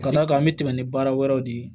Ka d'a kan an bɛ tɛmɛ ni baara wɛrɛw de ye